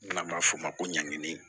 N'an b'a f'o ma ko ɲangini